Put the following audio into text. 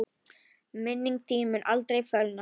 Minning þín mun aldrei fölna.